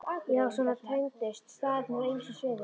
Já, svona tengdust staðirnir á ýmsum sviðum.